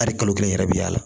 Hali kalo kelen yɛrɛ bi y'a la